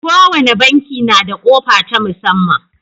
Kowane banki na da ƙofa ta musamman.